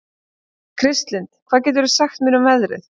Kristlind, hvað geturðu sagt mér um veðrið?